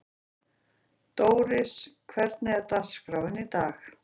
Dóris, hvernig er dagskráin í dag?